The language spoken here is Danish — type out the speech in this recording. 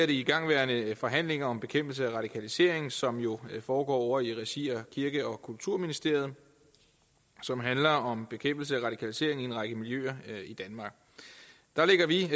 de igangværende forhandlinger om bekæmpelse af radikalisering som jo foregår i regi af kirke og kulturministeriet og som handler om bekæmpelse af radikalisering i en række miljøer i danmark der lægger vi